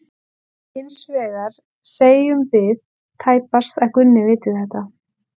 Hins vegar segjum við tæpast að Gunna viti þetta.